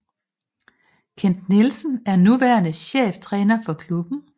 Kent Nielsen er nuværende cheftræner for klubben